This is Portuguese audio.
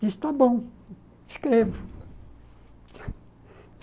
Disse, está bom, escrevo.